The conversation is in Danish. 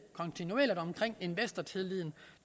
omkring investortilliden